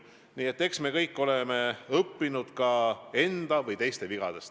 Nii et eks me kõik oleme õppinud ka enda või teiste vigadest.